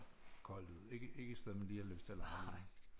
Koldt ud ikke ikke et sted man lige har lyst til at lege